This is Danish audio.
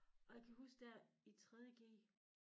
Og jeg kan huske dér i 3. g